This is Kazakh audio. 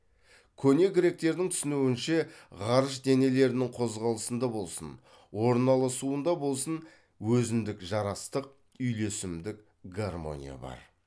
көне гректердің түсінуінше ғарыш денелерінің қозғалысында болсын орналасуында болсын өзіндік жарастық үйлесімдік гармония бар